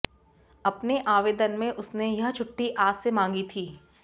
अपने आवेदन में उसने यह छुट्टी आज से मांगी थी